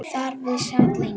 Þar við sat lengi.